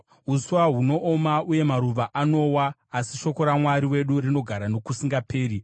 Uswa hunooma uye maruva anowa, asi shoko raMwari wedu rinogara nokusingaperi.”